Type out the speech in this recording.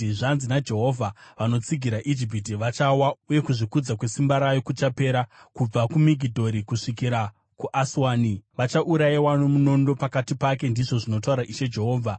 “ ‘Zvanzi naJehovha: “ ‘Vanotsigira Ijipiti vachawa uye simba rainozvikudza naro richapera. Kubva kuMigidhori kusvikira kuAswani, vachaurayiwa nomunondo mukati pake, ndizvo zvinotaura Ishe Jehovha.